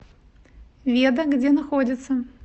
веда где находится